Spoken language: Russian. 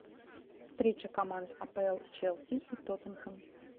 встреча команд апл челси и тоттенхэм